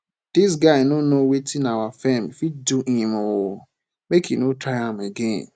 dis guy no know wetin our firm fit do him oo make he no try am again